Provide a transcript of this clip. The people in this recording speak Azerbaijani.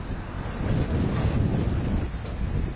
Çox qəşəng bir şeylər var.